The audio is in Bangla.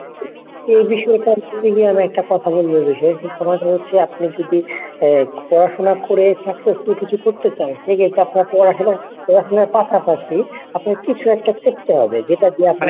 এই বিষয়টা নিয়ে বলতে গিয়ে আমি একটা কথা বলবো এই বিষয়। সে কথাটি হচ্ছে আপনি যদি পড়াশুনা করে successful কিছু করতে চান সেক্ষেত্রে আপনার পড়াশুনা পড়াশুনার পাশাপাশি আপনার কিছু একটা করতে হবে যেটা দিয়ে আপনি